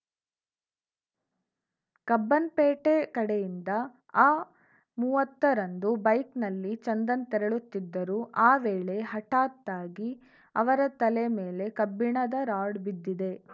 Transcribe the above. ಕಬ್ಬನ್‌ಪೇಟೆ ಕಡೆಯಿಂದ ಆಮೂವತ್ತ ರಂದು ಬೈಕ್‌ನಲ್ಲಿ ಚಂದನ್‌ ತೆರಳುತ್ತಿದ್ದರು ಆ ವೇಳೆ ಹಠತ್ತಾಗಿ ಅವರ ತಲೆ ಮೇಲೆ ಕಬ್ಬಿಣದ ರಾಡ್‌ ಬಿದ್ದಿದೆ